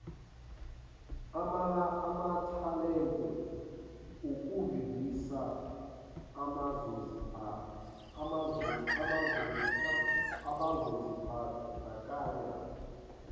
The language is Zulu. amathalente ukuvivisa abazozimbandakanya